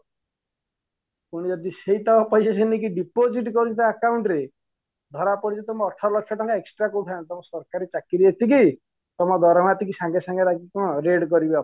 ତେଣୁ ଯଦି ସେଇତକ ପଇସା ସିଏ ନେଇକି deposit କରୁଛି ତା account ରେ ତମେ ଅଠର ଲକ୍ଷ ଟଙ୍କା extra କୋଉଠୁ ଆଣିଲ ତମ ସରକାରୀ ଚାକିରୀ ଏତିକି ତମ ଦରମା ଏତିକି ସଙ୍ଗେ ସଙ୍ଗେ କଣ raid କରିବେ office ରେ